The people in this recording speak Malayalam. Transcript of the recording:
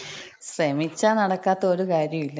ശ്രമിച്ചാ നടക്കാത്ത ഒരു കാര്യോല്ല.